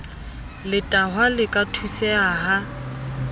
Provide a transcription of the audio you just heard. letahwa le ka thuseha ha